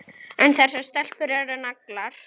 En þessar stelpur eru naglar.